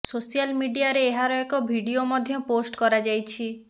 social ମିଡିଆରେ ଏହାର ଏକ ଭିଡିଓ ମଧ୍ୟ ପୋଷ୍ଟ କରାଯାଇଛି